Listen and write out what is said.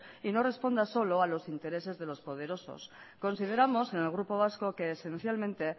y no responsa solo a los intereses de los poderosos consideramos en el grupo vasco que esencialmente